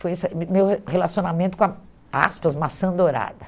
Foi meu relacionamento com a, aspas, maçã dourada.